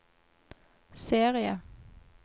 serie